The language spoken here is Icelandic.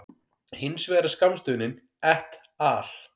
Hins vegar er skammstöfunin et al.